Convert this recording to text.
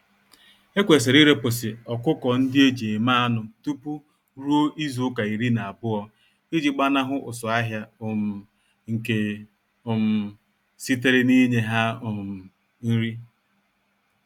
Ekwesịrị irepụsị ọkụkọ-ndị-eji-eme-anụ tupu ruo izuka iri na-abụọ iji gbanahụ ụsụ-ahịa um nke um sitere ninye ha um nri.